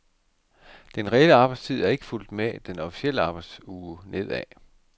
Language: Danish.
Den reelle arbejdstid er ikke fulgt med den officielle arbejdsuge nedad.